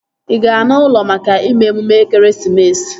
Ị ga-ana ụlọ maka ime emume ekeresimesi?